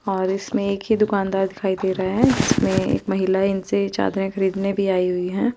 और इसमें एक ही दूकानदार दिखाई दे रहा है और एक महिलाएं इनसे चादरे खरीदने भी आई हुई है।